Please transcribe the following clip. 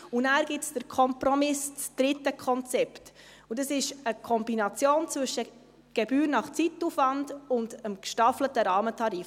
Dann gibt es den Kompromiss, das dritte Konzept, und das ist eine Kombination zwischen Gebühr nach Zeitaufwand und dem gestaffelten Rahmentarif.